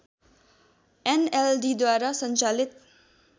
एनएलडीद्वारा सञ्चालित